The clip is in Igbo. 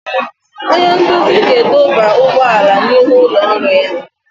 Onye nkuzi ga-edọba ụgbọala n'ihu ụlọ ọrụ ya.